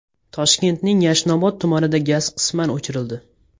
Toshkentning Yashnobod tumanida gaz qisman o‘chirildi.